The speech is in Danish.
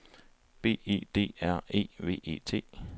B E D R E V E T